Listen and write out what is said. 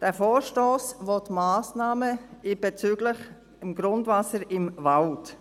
Der Vorstoss fordert Massnahmen bezüglich des Grundwassers im Wald.